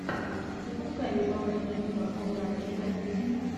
запускай любопытную киношку в жанре фэнтези